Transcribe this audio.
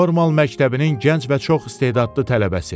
Normal məktəbinin gənc və çox istedadlı tələbəsi.